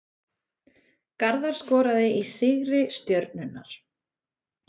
Garðar skoraði í sigri Stjörnunnar